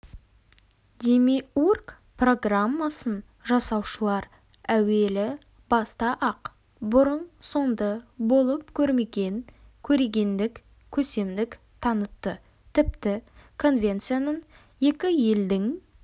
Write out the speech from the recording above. демиург программасын жасаушылар әуелі баста-ақ бұрын-соңды болып көрмеген көрегендік көсемдік танытты тіпті конвенция ның екі елдің